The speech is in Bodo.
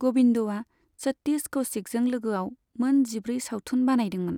गबिन्दआ सतिश कौशिकजों लोगोआव मोन जिब्रै सावथुन बानायदोंमोन।